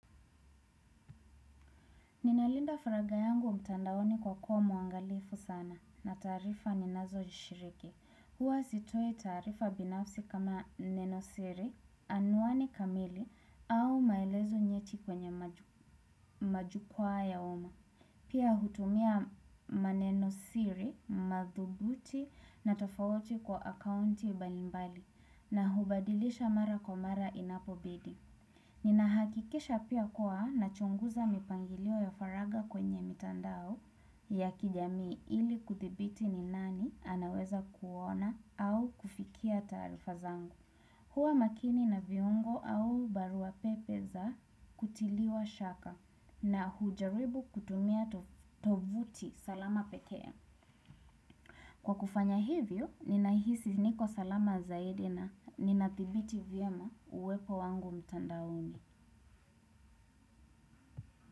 Ninalinda faragha yangu mtandaoni kwa kuwa mwangalifu sana na taarifa ninazo shiriki. Huwa sitoi taarifa binafsi kama Neno Siri, Anwani Kamili au maelezo nyeti kwenye majukwaa ya umma. Pia hutumia maneno siri, madhubuti na tofauti kwa akaunti mbalimbali na hubadilisha mara kwa mara inapo bidi. Nina hakikisha pia kwa na chunguza mipangilio ya faraga kwenye mitandao ya kijamii ili kuthibiti ni nani anaweza kuona au kufikia tarifa zangu. Huwa makini na viungo au barua pepe za kutiliwa shaka na hujaribu kutumia tovuti salama pekee. Kwa kufanya hivyo, ninahisi niko salama zaidi na ninadhibiti vyema uwepo wangu mitandaoni.